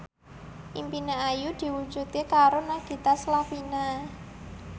impine Ayu diwujudke karo Nagita Slavina